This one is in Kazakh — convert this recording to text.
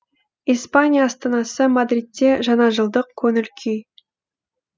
испания астанасы мадридте жаңажылдық көңіл күй